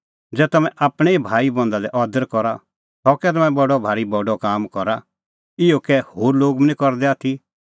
ज़ै तम्हैं आपणैं ई भाईबंधा लै अदर करा सह कै तम्हैं बडअ भारी बडअ काम करा इहअ कै होर लोग बी करदै निं आथी